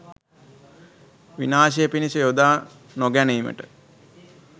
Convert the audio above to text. විනාශය පිණිස යොදා නොගැනීමට